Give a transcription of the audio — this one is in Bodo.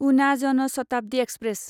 उना जन शताब्दि एक्सप्रेस